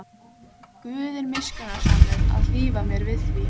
Guð er miskunnsamur að hlífa mér við því.